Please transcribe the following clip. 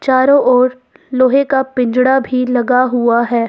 चारों ओर लोहे का पिंजड़ा भी लगा हुआ है।